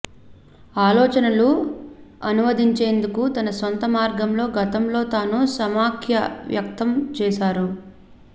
ఆలోచనలు అనువదించేందుకు తన సొంత మార్గంలో గతంలో తాను సమాఖ్య వ్యక్తం చేశారు